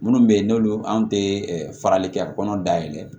Minnu bɛ yen n'olu anw tɛ farali kɛ kɔnɔ dayɛlɛ